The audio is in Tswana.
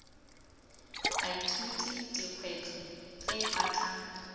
baithuti dikgwetlho tse ba tla